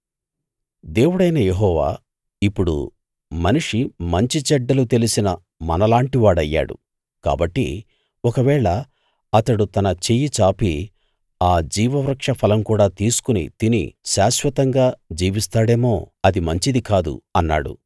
దేవుడైన యెహోవా ఇప్పుడు మనిషి మంచి చెడ్డలు తెలిసిన మనలాంటివాడయ్యాడు కాబట్టి ఒకవేళ అతడు తన చెయ్యి చాపి ఆ జీవ వృక్షఫలం కూడా తీసుకుని తిని శాశ్వతంగా జీవిస్తాడేమో అది మంచిది కాదు అన్నాడు